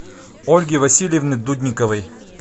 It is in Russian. ольги васильевны дудниковой